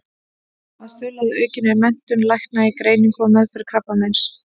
Að stuðla að aukinni menntun lækna í greiningu og meðferð krabbameins.